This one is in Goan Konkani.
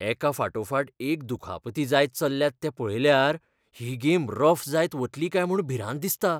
एकाफाटोफाट एक दुखापती जायत चल्ल्यात तें पळयल्यार ही गेम रफ जायत वतली काय म्हूण भिरांत दिसता.